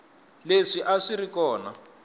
leswi a swi ri kona